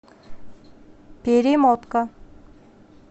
перемотка